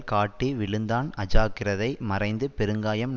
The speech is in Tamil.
காட்டி விழுந்தான் அஜாக்கிரதை மறைந்து பெருங்காயம்